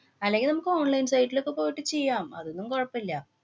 അല്ലെങ്കില്‍ നമുക്ക് online site ലൊക്കെ പോയിട്ട് ചെയ്യാം. അതൊന്നും കൊഴപ്പം ഇല്ല.